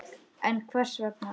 En hvers vegna ekki?